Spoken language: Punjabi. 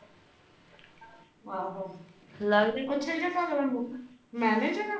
ਆਹੂ ਲਗ ਜੇ ਉੱਥੇ ਦਾ ਮੈਨੇਜਰ ਆ।